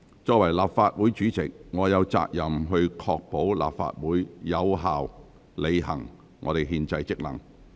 作為立法會主席，我有責任確保立法會能有效履行憲制職能。